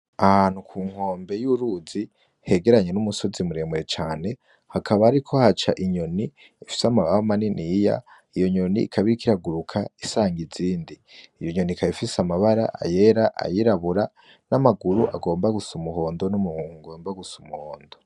Ahantu ku nkombe y'uruzi hegeranye n'umusozi muremure cane hakaba ari ko haca inyoni efise amababa manini iya iyo nyoni ikabirik iraguruka isanga izindi iyo inyonika yefise amabara ayera ayirabura n'amaguru agomba gusa umuhondo n'umuhunku ngomba gusa umuhondo.